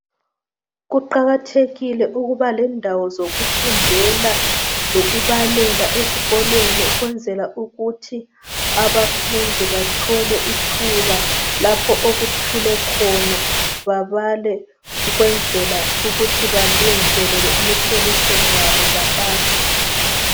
Kuqakathekile ukuba lendawo zokufundela lokubalela ezikolweni ukwenzela ukuthi abafundi bathole ithuba lapho okuthule khona. Babale ukwenzela ukuthi balungiselele imihloliso yabo bapase.